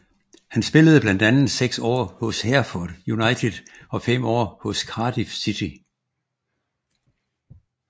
Han spillede blandt andet seks år hos Hereford United og fem år hos Cardiff City